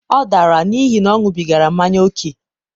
ọ dara n'ihi na ọ ṅubigara manya ókè.